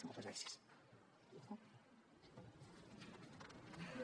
moltes gràcies